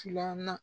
Filanan